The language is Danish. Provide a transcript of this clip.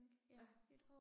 Ja